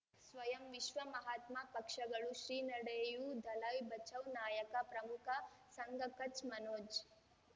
ಸ್ವಯಂ ವಿಶ್ವ ಮಹಾತ್ಮ ಪಕ್ಷಗಳು ಶ್ರೀ ನಡೆಯೂ ದಲೈ ಬಚೌ ನಾಯಕ ಪ್ರಮುಖ ಸಂಘ ಕಚ್ ಮನೋಜ್